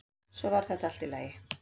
Svo varð þetta allt í lagi.